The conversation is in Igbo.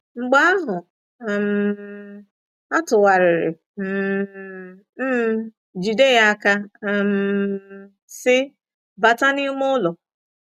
Mgbe ahụ, um atụgharịrị um m, jide ya aka, um sị, “Bata n’ime ụlọ! ”